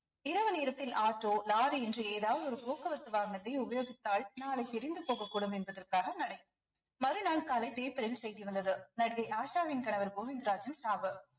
இரவு நேரத்தில் auto lorry இன்றி ஏதாவது ஒரு போக்குவரத்து வாகனத்தை உபயோகித்தால் நாளை தெரிந்து போகக்கூடும் என்பதர்காக மறுநாள் காலை paper ல் செய்தி வந்தது நடிகை ஆஷாவின் கணவர் கோவிந்தராஜின் சாவு